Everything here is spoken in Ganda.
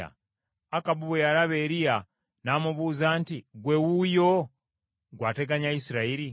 Akabu bwe yalaba Eriya, n’amubuuza nti, “Ggwe wuuyo, gwe ateganya Isirayiri?”